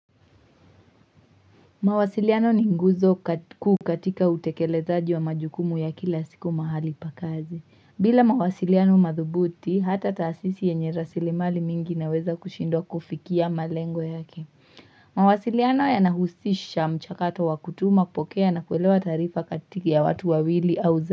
Mawasiliano ni nguzo kuu katika utekelezaji wa majukumu ya kila siku mahali pa kazi. Bila mawasiliano madhubuti, hata taasisi yenye rasilimali mingi naweza kushindwa kufikia malengo yake. Mawasiliano yanahusisha mchakato wa kutuma, kupokea na kuelewa taarifa kati ya watu wawili au za.